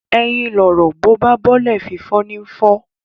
Ẹyin lọ̀rọ̀, bó bá balẹ̀, fífọ́ ní ń fọ́